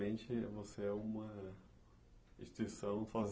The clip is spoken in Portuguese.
Basicamente, você é uma instituição sozinha.